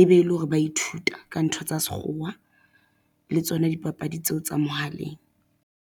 e be e le hore ba ithuta ka ntho tsa sekgowa le tsona dipapadi tseo tsa mohaleng.